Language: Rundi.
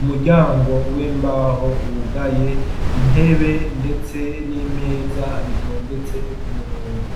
umuryango w'imbaho wugaye intebe, ndetse n'imeza abitondetse ko umurongo.